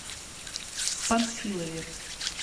панфилове